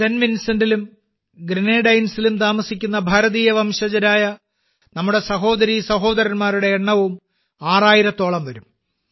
saint വിൻസെന്റിലും ഗ്രനേഡൈൻസിലും താമസിക്കുന്ന ഭാരതീയ വംശജരായ നമ്മുടെ സഹോദരീസഹോദരന്മാരുടെ എണ്ണവും ആറായിരത്തോളം വരും